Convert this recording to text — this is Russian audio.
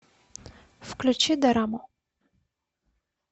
включи дораму